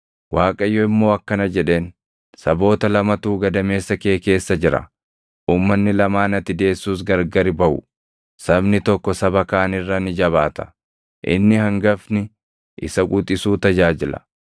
Waaqayyo immoo akkana jedheen; “Saboota lamatu gadameessa kee keessa jira; uummanni lamaan ati deessus gargari baʼu; sabni tokko saba kaan irra ni jabaata; inni hangafni isa quxisuu tajaajila.”